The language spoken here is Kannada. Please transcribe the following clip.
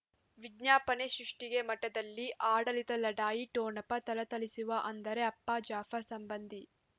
ವಿಜ್ಞಾಪನೆ ಸೃಷ್ಟಿಗೆ ಮಠದಲ್ಲಿ ಆಡಳಿತ ಲಢಾಯಿ ಠೊಣಪ ಥಳಥಳಿಸುವ ಅಂದರೆ ಅಪ್ಪ ಜಾಫರ್ ಸಂಬಂಧಿ